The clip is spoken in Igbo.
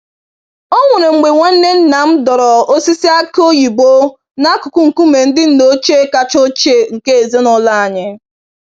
Onwere mgbe nwanne nnam dọrọ osisi aki oyibo n'akụkụ nkume ndị nna ochie kacha ochie nke ezinụlọ anyị.